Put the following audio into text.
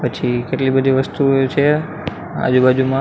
પછી કેટલી બધી વસ્તુઓ છે આજુબાજુમાં--